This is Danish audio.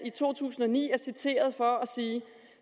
to tusind og ni er citeret for at sige